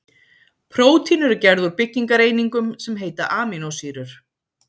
Prótín eru gerð úr byggingareiningum sem heita amínósýrur.